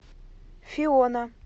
фиона